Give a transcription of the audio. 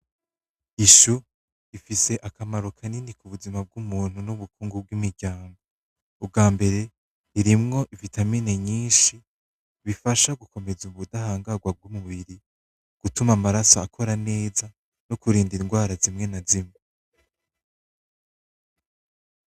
I choux ifise akamaro kanini kubuzima bwumuntu nubukungu bwimiryango, ubwambere irimwo vitamine nyinshi bifasha gukomeza ubutahangarwa bwumubiri, bituma amaraso akora neza nokurinda ingwara zimwe na zimwe.